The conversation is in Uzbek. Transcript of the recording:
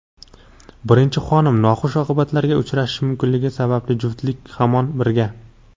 Birinchi xonim noxush oqibatlarga uchrashi mumkinligi sababli juftlik hamon birga.